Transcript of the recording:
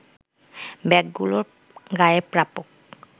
ব্যাগগুলোর গায়ে প্রাপক